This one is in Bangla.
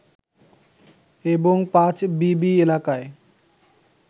এবং পাঁচবিবি এলাকায়